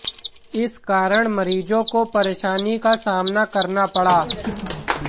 इस कारण मरीजों को परेशानी का सामना करना पड़ा